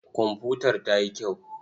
Komfutar ta yi kyau.